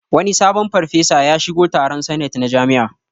Wani sabon farfesa ya shigo taron sanet na jami'a